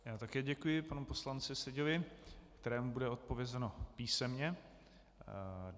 Já také děkuji panu poslanci Seďovi, kterému bude odpovězeno písemně.